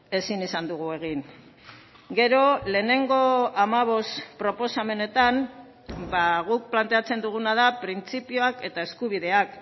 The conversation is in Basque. ezin izan dugu egin gero lehenengo hamabost proposamenetan guk planteatzen duguna da printzipioak eta eskubideak